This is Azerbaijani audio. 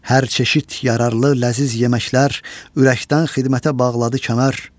Hər çeşid yararlı ləziz yeməklər, ürəkdən xidmətə bağladı kənar.